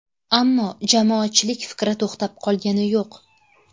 Ammo jamoatchilik fikri to‘xtab qolgani yo‘q.